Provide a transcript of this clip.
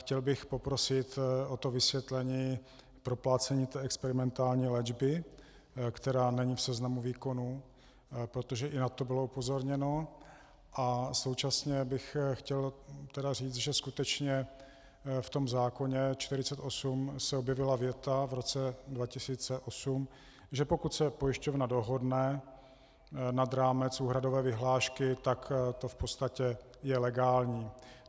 Chtěl bych poprosit o to vysvětlení proplácení té experimentální léčby, která není v seznamu výkonů, protože i na to bylo upozorněno, a současně bych chtěl tedy říci, že skutečně v tom zákoně 48 se objevila věta v roce 2008, že pokud se pojišťovna dohodne nad rámec úhradové vyhlášky, tak to v podstatě je legální.